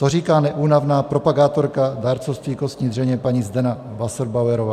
To říká neúnavná propagátorka dárcovství kostní dřeně paní Zdena Wasserbauerová.